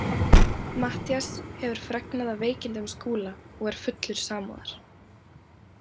Matthías hefur fregnað af veikindum Skúla og er fullur samúðar.